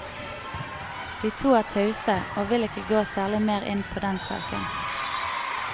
De to er tause, og vil ikke gå særlig mer inn på den saken.